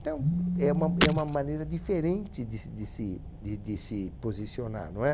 Então, é uma é uma maneira diferente de se de se de de se posicionar, não é?